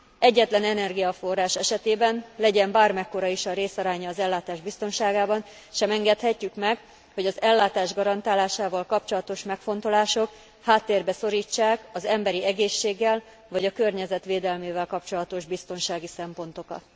Egyetlen energiaforrás esetében, legyen bármekkora is a részaránya az ellátás biztonságában, sem engedhetjük meg, hogy az ellátás garantálásával kapcsolatos megfontolások háttérbe szorítsák az emberi egészséggel vagy a környezet védelmével kapcsolatos biztonsági szempontokat.